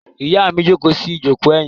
Ìyá mi jókòó sí ìjókòó ẹ̀yìn.